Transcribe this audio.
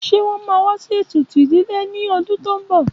Ṣé wón máa wá sí ètùtù ìdílé ní ọdún tó ń bọ̀?